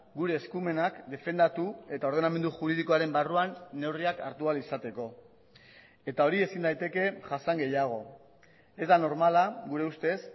gure eskumenak defendatu eta ordenamendu juridikoaren barruan neurriak hartu ahal izateko eta hori ezin daiteke jasan gehiago ez da normala gureustez